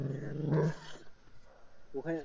হ্যাঁ ওখানে